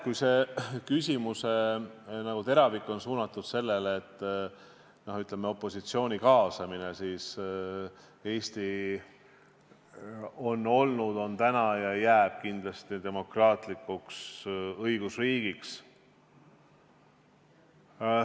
Kui see küsimuse teravik oli suunatud opositsiooni kaasamisele, siis ütlen, et Eesti on olnud, on täna ja kindlasti ka jääb demokraatlikuks õigusriigiks.